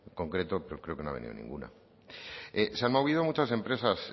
concreto pero creo que no ha venido ninguna se han movido muchas empresas